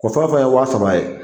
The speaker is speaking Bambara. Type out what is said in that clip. O fɛn o fɛn ye wa saba ye